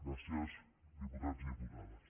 gràcies diputats i diputades